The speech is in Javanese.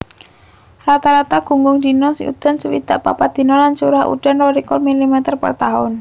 Rata rata gunggung dina udan swidak papat dina lan curah udan rolikur milimeter per taun